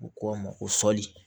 U ko a ma ko fɔli